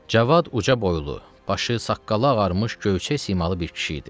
Cavad uca boylu, başı, saqqalı ağarmış gövhərçək simalı bir kişi idi.